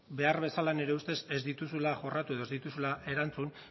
behar bezala nire ustez ez dituzuela jorratu edo ez dituzula erantzun